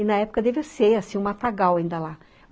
E, na época, devia ser, assim, o Matagal ainda lá.